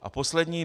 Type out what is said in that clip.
A poslední.